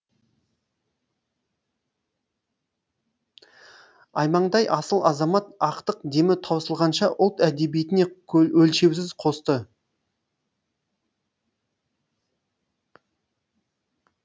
аймаңдай асыл азамат ақтық демі таусылғанша ұлт әдебиетіне өлшеусіз қосты